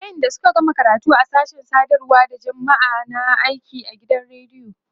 wayanda Suka gama karatu a sashen sadarwa da jamma'a na aiki a gidan radiyo